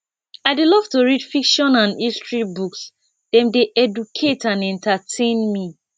i dey love to read fiction and history books dem dey educate and entertain me